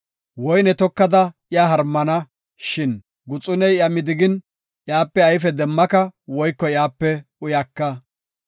Woyne tokada iya harmana, shin guxuney iya midigin, iyape ayfe demmaka woyko iyape uyaka.